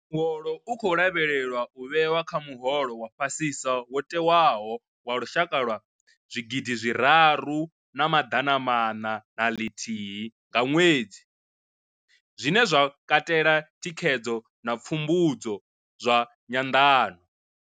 Muholo u khou lavhelelwa u vhewa kha muholo wa fhasisa wo tewaho wa lushaka wa zwi gidi zwi raru na maḓana maṋa na ḽithihi nga ṅwedzi, zwine zwa katela thikhedzo na pfumbudzo zwa nyanḓano.